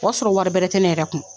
O y'a sɔrɔ wari bɛrɛ tɛ ne yɛrɛ kun